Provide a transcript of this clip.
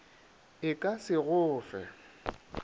e ka se go fe